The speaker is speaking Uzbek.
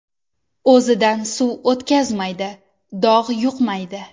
O‘zidan suv o‘tkazmaydi, dog‘ yuqmaydi.